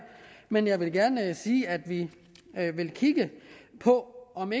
men jeg vil gerne sige at vi vil kigge på om